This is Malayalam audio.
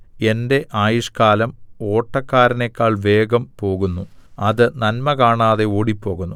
എന്റെ ആയുഷ്കാലം ഓട്ടക്കാരനെക്കാൾ വേഗം പോകുന്നു അത് നന്മ കാണാതെ ഓടിപ്പോകുന്നു